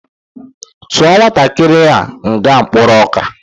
Tụọ nwatakịrị a nga mkporo ọka